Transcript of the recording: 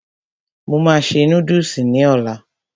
Mo máa se núdùsì ní ọlá